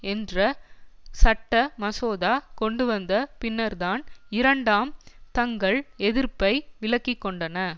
என்ற சட்ட மசோதா கொண்டுவந்த பின்னர்தான் இரண்டாம் தங்கள் எதிர்ப்பை விலக்கி கொண்டன